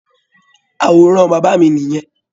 Àwòrán bàbá mi nìyẹn.